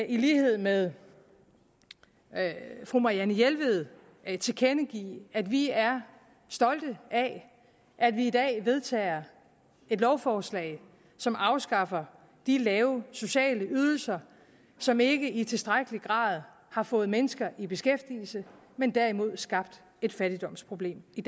i lighed med fru marianne jelved tilkendegive at vi er stolte af at vi i dag vedtager et lovforslag som afskaffer de lave sociale ydelser som ikke i tilstrækkelig grad har fået mennesker i beskæftigelse men derimod skabt et fattigdomsproblem i